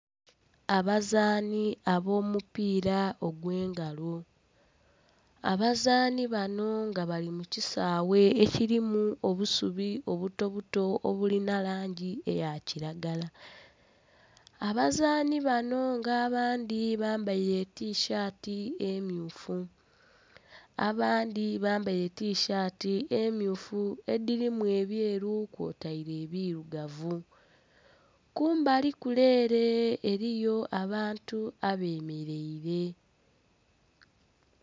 Abazaani ab'omupiira ogw'engalo, abazaani bano nga bali mu kisaghe ekirimu obusubi obutobuto obulina langi eya kiragala. Abazaani bano nga abandhi bambaire etishaati emmyufu abandhi bambaire etishaati emmyufu edhirimu ebyeru kwotaire ebirugavu. Kumbali kule ere eriyo abantu abemeleire.